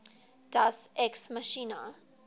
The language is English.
deus ex machina